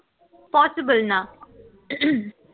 possible না